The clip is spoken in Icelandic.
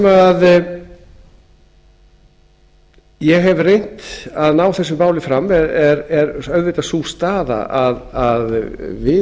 þar sem ég hef reynt að ná þessu máli fram er auðvitað sú staða að við